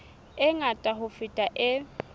e ngata ho feta e